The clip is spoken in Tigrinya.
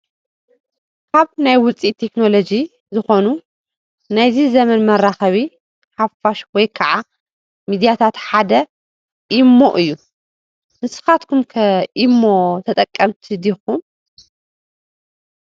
ካብ ናይ ውፅኢት ቴክኖሎጂ ዝኾኑ ናይዚ ዘመን መራኸቢ ሓፋሽ ወይ ከዓ ሚድያታት ሓደ ኢ-ሞ እዩ፡፡ ንስኻትኩም ከ ኢ-ሞ ተጠቀምቲ ዲኹም?